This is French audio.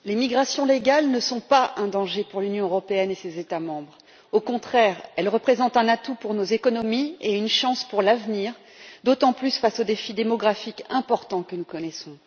Monsieur le Président, les migrations légales ne sont pas un danger pour l'Union européenne et ses États membres. Au contraire, elles représentent un atout pour nos économies et une chance pour l'avenir, d'autant plus face au défi démographique important que nous connaissons.